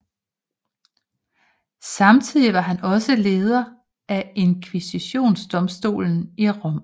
Samtidig var han også leder af Inkvisitionsdomstolen i Rom